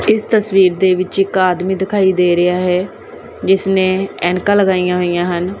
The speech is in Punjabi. ਇਸ ਤਸਵੀਰ ਦੇ ਵਿੱਚ ਇੱਕ ਆਦਮੀ ਦਿਖਾਈ ਦੇ ਰਿਹਾ ਹੈ ਜਿਸਨੇ ਐਨਕਾਂ ਲਗਾਈਆਂ ਹੋਈਆਂ ਹਨ।